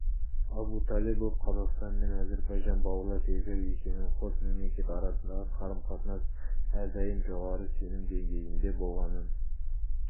абуталыбов қазақстан мен әзербайжан бауырлас елдер екенін қос мемлекет арасындағы қарым-қатынас әрдайым жоғары сенім деңгейінде болғанын